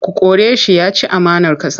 Ku kore shi! Ya ci amanar ƙasa.